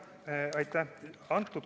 Aitäh!